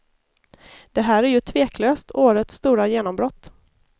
Det här är ju tveklöst årets stora genombrott.